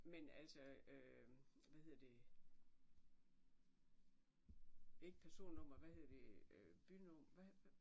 Men altså hvad hedder det ikke personnummer hvad hedder det bynummer hvad hvad